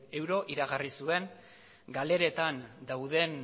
euro iragarri zuen galeretan dauden